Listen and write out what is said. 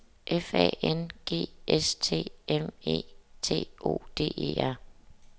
F A N G S T M E T O D E R